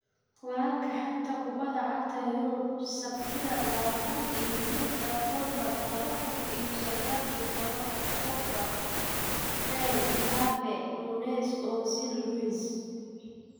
Wararka xanta kubada cagta Yurub Sabtida labatan iyo lixda octobaar laba kuun iyo sagal iyo tobanka: Pogba, Bale, Mbappe, Nunez, Ozil, Luiz